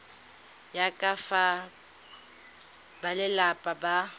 ya ka fa balelapa ba